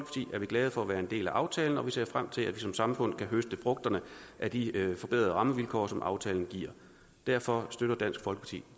er vi glade for at være en del af aftalen og vi ser frem til at vi som samfund kan høste frugterne af de forbedrede rammevilkår som aftalen giver derfor støtter dansk folkeparti